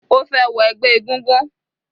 Ó fẹ́ wọ ẹgbẹ́ egúngún.